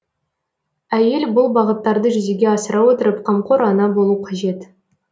әйел бұл бағыттарды жүзеге асыра отырып қамқор ана болу қажет